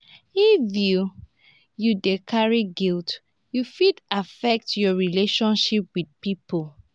if you you dey carry guilt e fit affect your relationship wit pipo.